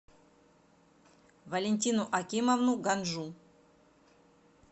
валентину акимовну ганжу